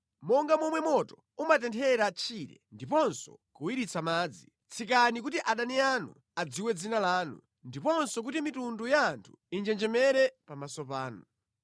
Monga momwe moto umatenthera tchire ndiponso kuwiritsa madzi, tsikani kuti adani anu adziwe dzina lanu, ndiponso kuti mitundu ya anthu injenjemere pamaso panu.